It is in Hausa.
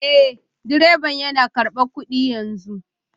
Eh direban yana karbar kudi yanzu